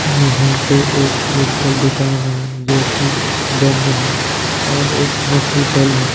यहाँ पे एक मेडिकल दुकान हैं जो की बंद है और एक हॉस्पिटल है।